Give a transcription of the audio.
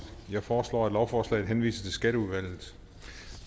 jeg foreslår at lovforslaget henvises til skatteudvalget